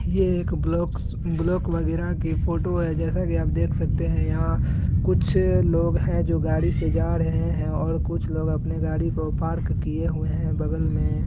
ये एक blocks block वगैरा की फोटो है जेसा की आप देख सकते है यहाँ कुछ अ लोग है जो गाड़ी से जा रहे है ओर कुछ लोग आपने गाड़ी को पार्क किए हुए है बगल मे --